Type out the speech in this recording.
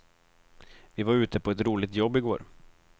Vi var ute på ett roligt jobb i går.